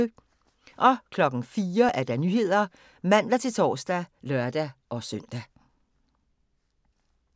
04:00: Nyhederne (man-tor og lør-søn)